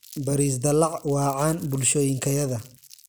baris dalac waa caan bulshooyinkayada.